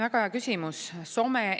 Väga hea küsimus!